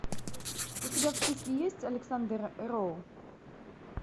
у тебя в списке есть александр роу